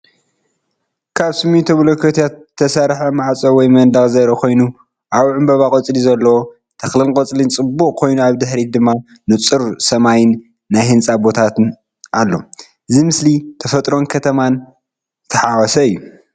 ካብ ስሚንቶ ብሎኮታት ዝተሰርሐ ማዕጾ ወይ መንደቕ ዘርኢ ኮይኑ ኣብኡ ዕምባባን ቆጽሊ ዘለዎ ተኽልን ቆጽሊ ጽዑቕ ኮይኑ ኣብ ድሕሪት ድማ ንጹር ሰማይን ናይ ህንጻ ቦታን ኣሎ። እዚ ምስሊ ተፈጥሮን ከተማን ዝተሓዋወሰ እዩ።